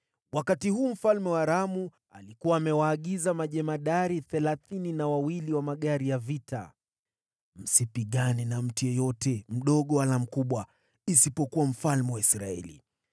Wakati huu, mfalme wa Aramu alikuwa amewaagiza majemadari thelathini na wawili wa magari ya vita, “Msipigane na yeyote, mdogo au mkubwa, isipokuwa mfalme wa Israeli.”